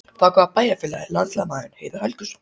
Frá hvaða bæjarfélagi er landsliðsmaðurinn Heiðar Helguson?